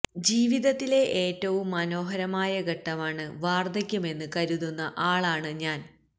ജീവിതത്തിലെ ഏറ്റവും മനോഹരമായ ഘട്ടമാണ് വാർദ്ധക്യമെന്ന് കരുതുന്ന ആളാണ് ഞാൻ